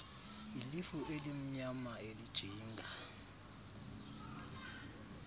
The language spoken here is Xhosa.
ilifu elimnyama elijinga